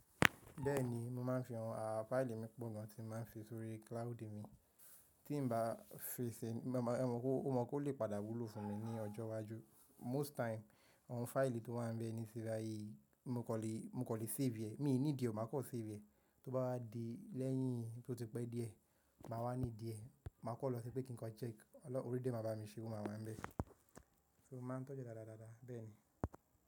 Bẹ́ẹ̀ni, mo máa ń fi àwọn fáìlì mi pọ̀ gan tí mo máa ń fi sórí cloud mi tí ń bá fi si, mo mọ̀ pé ó lè padà wúlò fún mi ní ọjọ́ iwájú. Most time àwọn fáìlì tó wá ń bẹ́ nísín bàyìí mo kò lè, mo kò lè save. Mi nídìí o máa kọ save, tó bá wá di lẹ́yìn tó ti pé díẹ̀, màá wá need ee, màá kọ lọ síbẹ̀ kí n kọ check, orí dẹ̀ máa bá mi ṣe, oo màá wá ń bẹ́. So mo máa ń tọ́jú ee dáadáa bẹ́ẹ̀ ni.